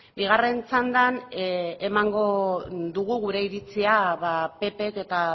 bigarren txandan emango dugu gure iritzia ppk eta